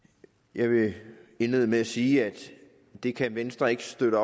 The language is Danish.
jeg vil indlede med at sige at det kan venstre ikke støtte